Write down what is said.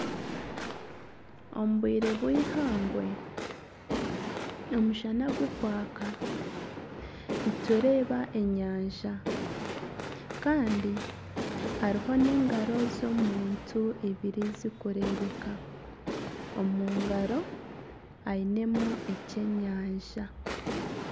Omu bwire bw'eihangwe omushana gukwaka nitureeba enyanja kandi hariho n'engaro z'omuntu ibiri zirikureebeka, omu ngaro ainemu ekyenyanja.